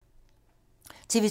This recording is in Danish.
TV 2